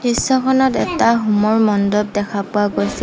দৃশ্যখনত এটা হোমৰ মণ্ডপ দেখা পোৱা গৈছে।